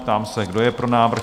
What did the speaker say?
Ptám se, kdo je pro návrh?